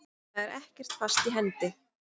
Það er ekkert fast í hendi.